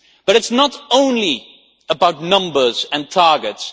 But it is not only about numbers and targets.